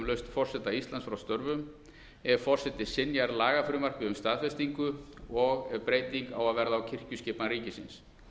lausn forseta íslands frá störfum ef forseti synjar lagafrumvarpi um staðfestingu og ef breyting á að verða á kirkjuskipan ríkisins